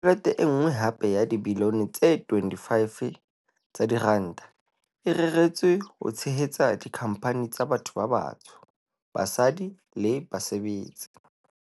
Tjhelete e nngwe hape ya dibilione tse 25 tsa diranta e reretswe ho tshehetsa dikhampani tsa batho ba batsho, basadi le basebetsi.